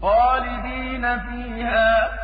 خَالِدِينَ فِيهَا ۖ